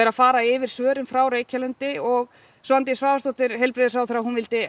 að fara yfir svörin frá Reykjalundi og Svandís Svavarsdóttir heilbrigðisráðherra vildi